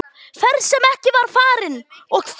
Ferð sem ekki var farin- og þó!